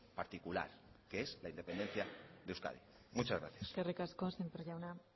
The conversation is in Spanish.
particular que es la independencia de euskadi muchas gracias eskerrik asko sémper jauna